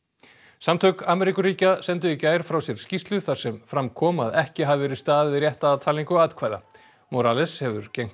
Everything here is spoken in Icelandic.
samtök Ameríkuríkja sendu í gær frá sér skýrslu þar sem fram kom að ekki hafi verið staðið rétt að talningu atkvæða morales hefur gegnt